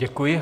Děkuji.